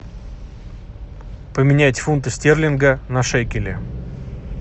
поменять фунты стерлинга на шекели